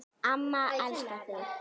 Amma elskar þig